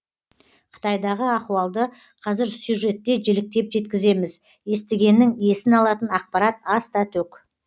қытайдағы ахуалды қазір сюжетте жіліктеп жеткіземіз естігеннің есін алатын ақпарат аста төк